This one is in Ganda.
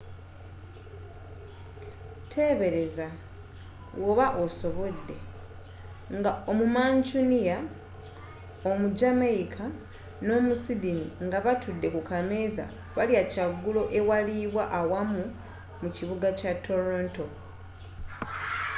tebeereza woba osobodde nga omu mancunia omu jamaica n'omu sydney nga batudde ku kameeza balya kyagulo ewaliibwa awamu mu kibuga kya toronto